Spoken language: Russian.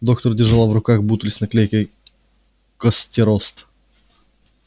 доктор держала в руках бутыль с наклейкой костерост